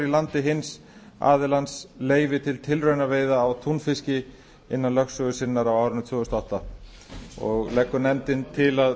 landi hins aðilans leyfi til tilraunaveiða á túnfiski innan lögsögu sinnar á árinu tvö þúsund og átta nefndin leggur til að